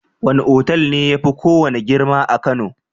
Wane otal ne yafi kowane girma a kano?